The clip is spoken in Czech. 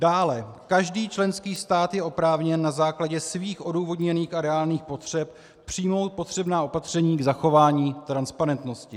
Dále, každý členský stát je oprávněn na základě svých odůvodněných a reálných potřeb přijmout potřebná opatření k zachování transparentnosti.